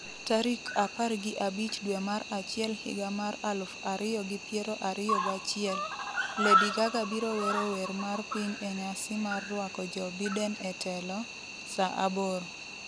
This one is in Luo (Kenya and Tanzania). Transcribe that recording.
tarik apar gi abich dwe mar achiel higa mar aluf ariyo gi piero ariyo gachiel. Lady Gaga biro wero wer mar piny e nyasi mar rwako Joe Biden e telo, sa aboro